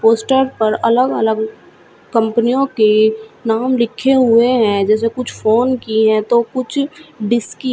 poster पर अलग अलग कंपनियों के नाम लिखे हुए हैं जैसे कुछ फोन की हैं तो कुछ डिश की--